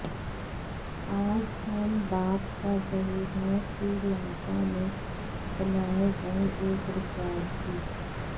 आज हम बात कर रहे हैं श्रीलंका में बनाए गए एक रिकॉर्ड की